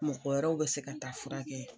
Mɔgɔ wɛrɛw bɛ se ka taa furakɛ